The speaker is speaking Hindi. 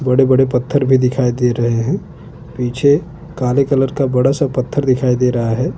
बड़े बड़े पत्थर भी दिखाई दे रहे हे पीछे काले कलर का बडा सा पत्थर दिखाई दे रहा है।